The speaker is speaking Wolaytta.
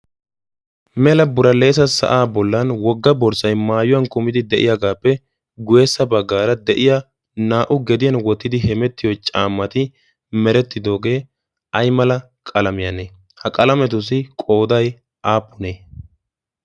mela buraleesa sa7aa bollan wogga borssai maayuwan kumidi de7iyaagaappe gueessa baggaara de7iya naa77u gediyan wottidi hemettiyo caammati merettidoogee ai mala qalamiyaanee? ha qalametussi qoodai aappunee?